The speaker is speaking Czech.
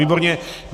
Výborně.